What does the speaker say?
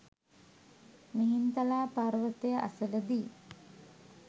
මිහින්තලා පර්වතය අසල දී